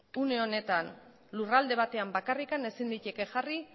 une honetan lurralde batetan bakarrik ezin liteke jarri